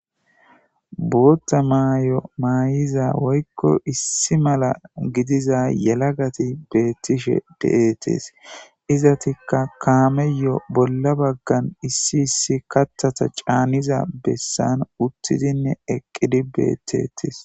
Bootta maay'o maayiza woykko issi mala gidiza yelagati beettishe de'ettes izatikka kaameyo bolla baggan issi issi kattata caaniza bessan uttidinne eqqidi beettettis.